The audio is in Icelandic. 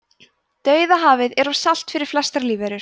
dauðahafið er of salt fyrir flestar lífverur